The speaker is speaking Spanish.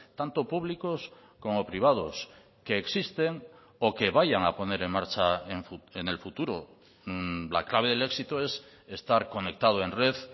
tanto públicos como privados que existen o que vayan a poner en marcha en el futuro la clave del éxito es estar conectado en red